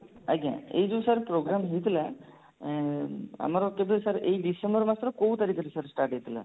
ଆଜ୍ଞା ଏଇ ଯଉ sir program ହେଇଥିଲା ଉଁ ଆମର କେବେ sir ଏଇ ଡିସେମ୍ବର ମାସର କଉ ତାରିଖରେ sir start ହେଇଥିଲା